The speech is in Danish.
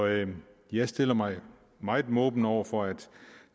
jeg stiller mig meget måbende over for at